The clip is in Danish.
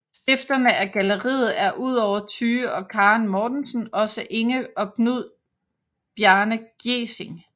Stifterne af galleriet er udover Tyge og Karen Mortensen også Inge og Knud Bjarne Gjesing